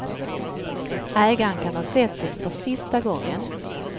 Ägaren kan ha sett det för sista gången.